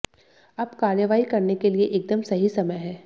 अब कार्रवाई करने के लिए एकदम सही समय है